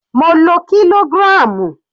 Mo lo kilogram.